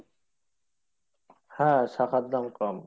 হ্যাঁ শাখার দাম কম।